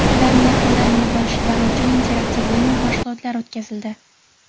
ularni yaqindan bilib olishilari uchun interaktiv o‘yin va mashg‘ulotlar o‘tkazildi.